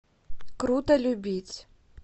круто любить